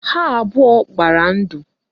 Ha abụọ gbara ndụ